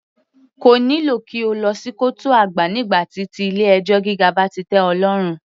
Kò nílò kí o lọ sí kọ́ọ̀tù àgbà nígbà tí ti ilé ẹjọ́ gíga bá ti tẹ́ ọ lọ́rùn.